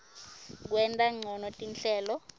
kwenta ncono tinhlelo